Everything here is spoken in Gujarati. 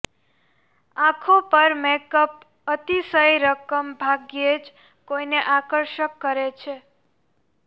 આંખો પર મેકઅપ અતિશય રકમ ભાગ્યે જ કોઈને આકર્ષક કરે છે